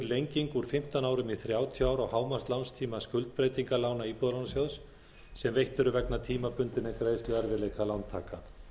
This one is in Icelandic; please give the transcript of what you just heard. lenging úr fimmtán árum í þrjátíu ár á hámarkslánstíma skuldbreytingarlána íbúðalánasjóðs sem veitt eru vegna tímabundinna greiðsluerfiðleika lántaka